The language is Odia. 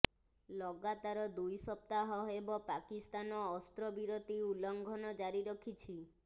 ଲଗାତାର ଦୁଇ ସପ୍ତାହ ହେବ ପାକିସ୍ତାନ ଅସ୍ତ୍ରବିରତି ଉଲ୍ଳଂଘନ ଜାରି ରଖିଛି